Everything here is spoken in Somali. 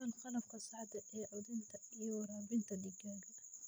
Isticmaal qalabka saxda ah ee quudinta iyo waraabinta digaagga.